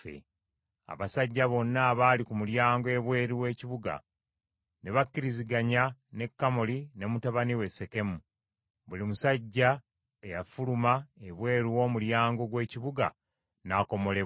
Abasajja bonna abaali ku mulyango ebweru w’ekibuga ne bakkiriziganya ne Kamoli ne mutabani we Sekemu; buli musajja eyafuluma ebweru w’omulyango gw’ekibuga n’akomolebwa.